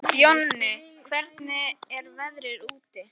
Jonni, hvernig er veðrið úti?